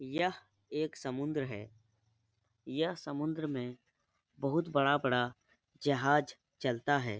यह एक समुन्द्र है। यह समुन्द्र में बहोत बड़ा-बड़ा जहाज चलता है।